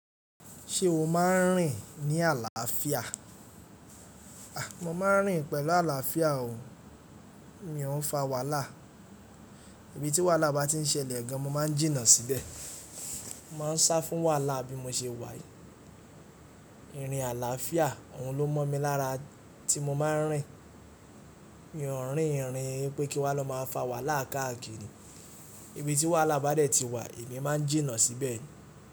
Ṣé o máa ń rìn ní àlàáfíà? A! Mo máa ń rìn pẹ̀lú àlàáfíà o, mi ò ún fa wàhálà. Ibi tí wàhálà bá ti ń ṣẹlẹ̀ gan, mo máa ń jìnnà síbẹ̀. Mo máa ń sá fún wàhálà bí mo ṣe wà yi. Irin àlàáfíà, òun ló mọ̀ mi lára tí mo máa ń rìn. Mi ò n rìn ìrìn pé kí n wa lọ máa fa wàhálà káàkiri. Ibi tí wàhálà bá dẹ̀ ti wà, èmi máa ń jìnnà síbẹ̀.